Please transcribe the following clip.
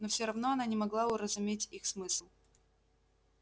но всё равно она не могла уразуметь их смысл